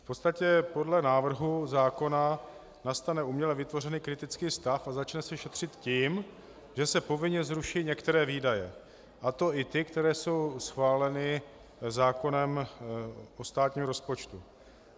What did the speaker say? V podstatě podle návrhu zákona nastane uměle vytvořený kritický stav a začne se šetřit tím, že se povinně zruší některé výdaje, a to i ty, které jsou schváleny zákonem o státním rozpočtu.